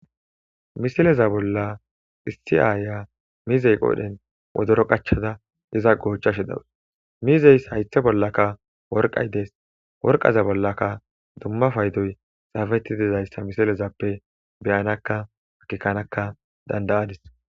misileza bolla issi aaya mizey qoodhen wodoro qachada diza goochashe dawus mizeys haythe bollaka worqay dees worqaza bollaka dumma faydoy xaafeti dizayssa misilezappe beyanakka hakikanaka dandayadis